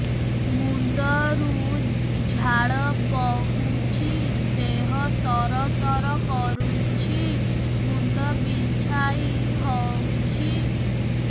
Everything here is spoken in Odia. ମୁଣ୍ଡ ରୁ ଝାଳ ବହୁଛି ଦେହ ତର ତର କରୁଛି ମୁଣ୍ଡ ବିଞ୍ଛାଇ ହଉଛି